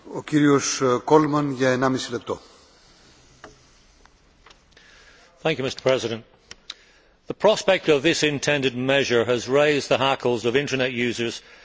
Mr President, the prospect of this intended measure has raised the hackles of internet users throughout the Member States.